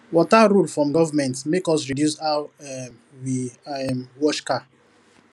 water rule from government make us reduce how um we um wash car